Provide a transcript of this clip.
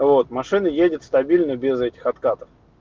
вот машина едет стабильно без этих откатов